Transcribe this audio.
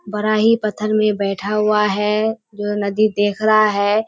बड़ा ही पत्थर में बैठा हुआ है जो नदी देख रहा है।